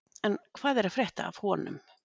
En hvað er að frétta af honum?